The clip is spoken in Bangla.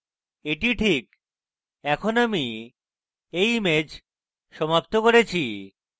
এটি this এখন আমি এই image সমাপ্ত করেছি